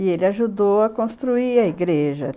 E ele ajudou a construir a igreja.